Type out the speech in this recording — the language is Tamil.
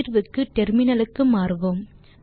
தீர்வுக்கு டெர்மினலுக்கு மாறுவோம்